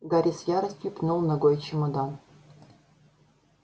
гарри с яростью пнул ногой чемодан